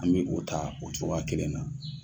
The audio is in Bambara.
An mi o ta, o cogoya kelen na.